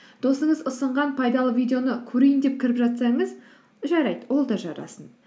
досыңыз ұсынған пайдалы видеоны көрейін деп кіріп жатсаңыз жарайды ол да жарасын